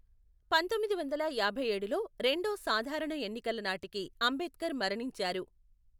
పంతొమ్మిది వందల యాభై ఏడులో రెండో సాధారణ ఎన్నికల నాటికి అంబేద్కర్ మరణించారు.